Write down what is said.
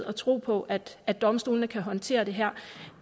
og tro på at at domstolene kan håndtere det her